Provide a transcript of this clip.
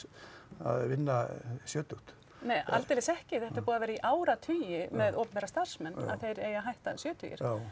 að vinna sjötugt nei aldeilis ekki þetta er búið að vera í áratugi með opinbera starfsmenn að þeir eigi að hætta sjötugir já